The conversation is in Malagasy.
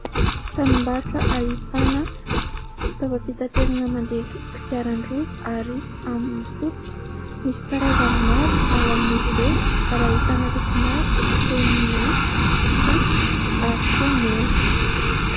Tranom-barotra ahitana fitaovam-pitaterana mandeha kodiaran-droa ary amin'ny solika, misy karazany maro ao amin'izy ireo ary ahitana loko maro toy ny mainty, fotsy ary koa mena.